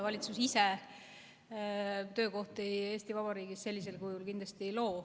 Valitsus ise töökohti Eesti Vabariigis sellisel kujul kindlasti ei loo.